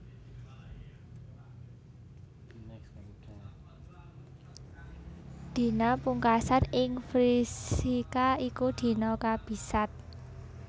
Dina pungkasan ing Vrishika iku dina kabisat